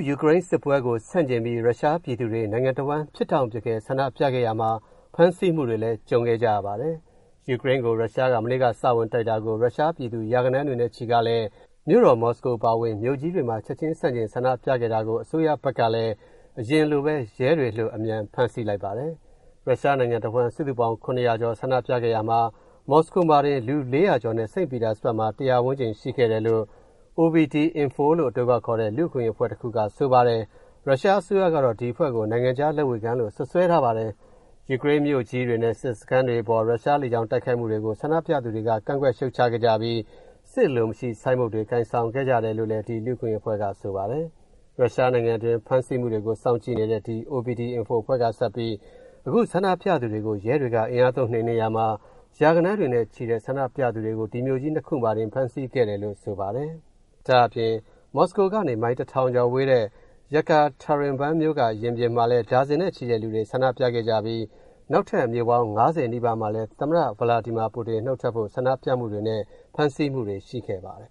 ယူကရိန်းစစ်ပွဲကို ဆန့်ကျင်ပြီး ရုရှားပြည်သူတွေ နိုင်ငံတဝှမ်း ဖြစ်တောင့်ဖြစ်ခဲ ဆန္ဒပြခဲ့ရာမှာ ဖမ်းဆီးမှုတွေလည်းရှိခဲ့ပါတယ်။ ရုရှားက ယူကရိန်းကို မနေ့က စဝင်တိုက်တာကို ရုရှားပြည်သူ ရာဂဏန်းတွေချီကလည်း မြို့တော် မော်စကိုအပါဝင် မြို့ကြီးတွေမှာ ချင်ချင်းဆန့်ကျင်ဆန္ဒပြခဲ့တာမှာ အစိုးရဘက်ကလည်း အရင်လိုပဲ ရဲတွေလွှတ် အမြန်ဖမ်းဆီးလိုက်ပါတယ်။ ရုရှားနိုင်ငံတဝှမ်း စုစုပေါင်း ၇၀၀ ကျော် ဆန္ဒပြခဲ့ရာမှာ မော်စကိုမှာတင် လူ ၄၀၀ ကျော်နဲ့ စိန့်ပီတာစဘတ်မှာ ၁၀၀ ဝန်းကျင် ရှိခဲ့တယ်လို့ OVD-Info လို့အတိုခေါက်ခေါ်တဲ့ လူ့အခွင့်အရေးအဖွဲ့တခုက ဆိုပါတယ်။ ရုရှားအစိုးရကတော့ ဒီအဖွဲ့ကို နိုင်ငံခြားလက်ဝေခံလို့ စွတ်စွဲထားပါတယ်။ ယူကရိန်းမြို့ကြီးတွေနဲ့ စစ်စခန်းတွေအပေါ် ရုရှားလေကြောင်းတိုက်ခိုက်မူတွေကို ဆန္ဒပြသူ တွေက ကန့်ကွက်ရှုတ်ချခဲ့ကြပြီး “စစ်အလိုမရှိ” ဆိုင်းဘုတ်တွေ ကိုင်ဆောင်ခဲ့ကြတယ်လို့ ဒီ လူ့အခွင့်အရေးအဖွဲ့က ဆိုပါတယ်။ ရုရှားနိုင်ငံတွင်း ဖမ်းဆီးမူတွေကို စောင့်ကြည့်နေတဲ့ ဒီ OVD-Info အဖွဲ့ကပဲ အခုဆန္ဒပြသူတွေကို ရဲတွေက အင်အားသုံးနိမ်နင်းရာမှာ ရာဂဏန်းတွေနဲ့ ချီတဲ့ဆန္ဒပြသူတွေ ဒီ မြို့ကြီး ၂ ခုမှာတင် ဖမ်းဆီးခံခဲ့ရတယ်လို့ ဆိုပါတယ်။ ဒါ့အပြင် မော်စကိုကနေ မိုင် ၁,၀၀၀ ကျော်ဝေးတဲ့ Yekaterinburn မြို့က ရင်ပြင်မှာလည်း ဒါဇင်နဲ့ချီတဲ့လူတွေ ဆန္ဒပြခဲ့ကြပြီး နောက်ထပ် မြို့ပေါင်း ၅၀ နီးပါးမှာလည်း သမ္မတ ပူတင်နုတ်ထွက်ဖို့ ဆန္ဒပြမူတွေနဲ့ ဖမ်းဆီးမူတွေလည်းရှိခဲ့ပါတယ်